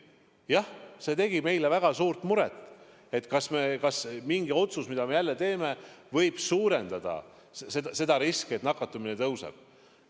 Jah, see tegi meile väga suurt muret, kas mingi otsus, mida me teeme, võib suurendada seda riski, et nakatumine tõuseb.